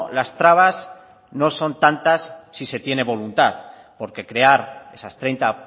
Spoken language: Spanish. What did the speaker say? las trabas no son tantas si se tiene voluntad porque crear esas treinta